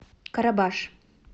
карабаш